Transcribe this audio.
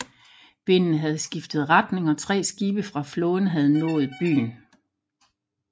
Vinden havde skiftet retning og tre skibe fra flåden havde nået byen